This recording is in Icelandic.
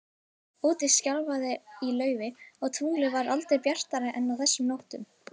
Úti skrjáfaði í laufi, og tunglið var aldrei bjartara en á þessum nóttum.